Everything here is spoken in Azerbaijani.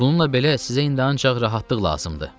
Bununla belə, sizə indi ancaq rahatlıq lazımdır.